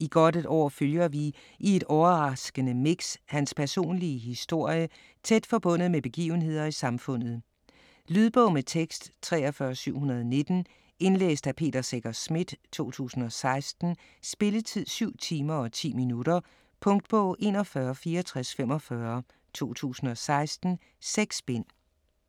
I godt et år følger vi i et overraskende mix hans personlige historie tæt forbundet med begivenheder i samfundet. Lydbog med tekst 43719 Indlæst af Peter Secher Schmidt, 2016. Spilletid: 7 timer, 10 minutter. Punktbog 416445 2016. 6 bind.